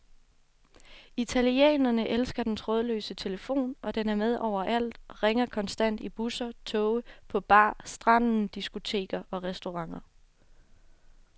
Italienerne elsker den trådløse telefon, og den er med overalt og ringer konstant i busser, toge, på bar, stranden, diskoteker og restauranter.